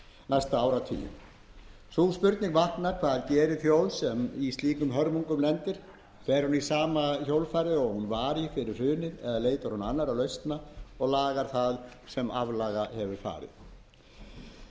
næsta áratuginn sú spurning vaknar hvað gerir þjóð sem í slíkum hörmungum lendir fer hún í sama hjólfarið og hún var í fyrir hrunið eða leitar hún annarra lausna og lagar það sem aflaga hefur